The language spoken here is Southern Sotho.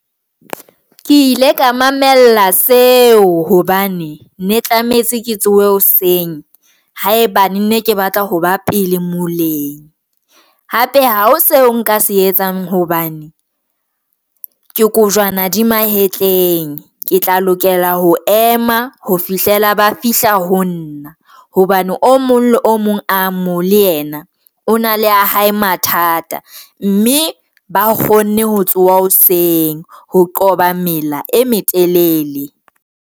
Ke ile ka mamella seo hobane ne tlametse ke tsohe hoseng haebane ne ke batla ho ba pele moleng hape hao seo nka se etsang hobane ke kojwana di mahetleng. Ke tla lokela ho ema ho fihlela ba fihla ho nna hobane o mong le o mong amo le yena, o na le ya hae mathata, mme ba kgonne ho tsoha hoseng ho qoba mela e metelele.